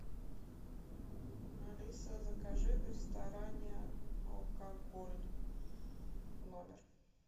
алиса закажи в ресторане алкоголь в номер